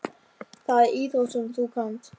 Það er íþrótt sem þú kannt.